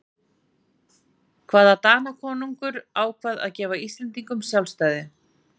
hvaða danakonungur ákvað að gefa íslendingum sjálfstæði